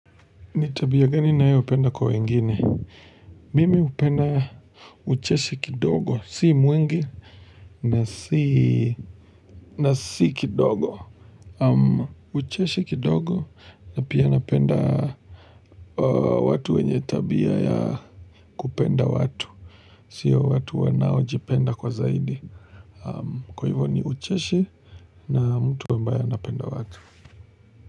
Nitabia gani na hiyo upenda kwa wengine? Mimi upenda ucheshi kidogo, si mwingi na si kidogo. Ucheshi kidogo na pia napenda watu wenye tabia ya kupenda watu. Sio watu wanao jipenda kwa zaidi. Kwa hivyo ni ucheshi na mtu ambaye anapenda watu.